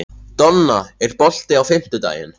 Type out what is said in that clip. Donna, er bolti á fimmtudaginn?